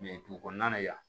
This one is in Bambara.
dugu kɔnɔna na yan